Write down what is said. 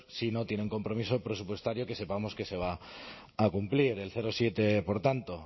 si no tiene un compromiso presupuestario que sepamos que se va a cumplir el siete por tanto